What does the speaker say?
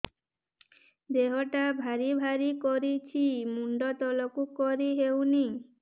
ଦେହଟା ଭାରି ଭାରି କରୁଛି ମୁଣ୍ଡ ତଳକୁ କରି ହେଉନି